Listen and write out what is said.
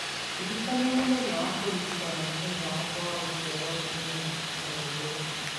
Ndĩririkania mũthenya wa kũririkana mũthenya wakwa wa gũciarũo mũthenya ũmwe mbere